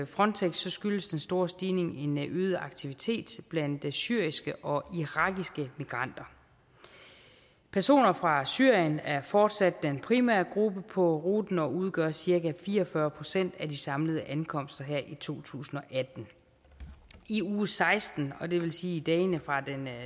frontex skyldes den store stigning en en øget aktivitet blandt syriske og irakiske migranter personer fra syrien er fortsat den primære gruppe på ruten og udgør cirka fire og fyrre procent af de samlede ankomster her i to tusind og atten i uge seksten og det vil sige i dagene fra den